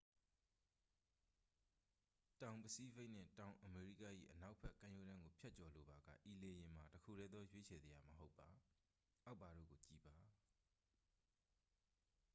တောင်ပစိဖိတ်နှင့် တောင်အမေရိက၏ အနောက်ဘက် ကမ်းရိုးတန်းကို ဖြတ်ကျော်လိုပါက ဤလေယာဉ်မှာ တစ်ခုတည်းသော ရွေးချယ်စရာ မဟုတ်ပါ။ အောက်ပါတို့ကို ကြည့်ပါ